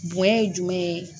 Bonɲɛ ye jumɛn ye